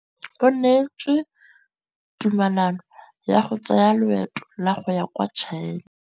O neetswe tumalanô ya go tsaya loetô la go ya kwa China.